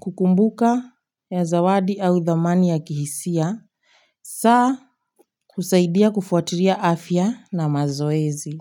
kukumbuka ya zawadi au thamani ya kihisia saa husaidia kufuatilia afya na mazoezi.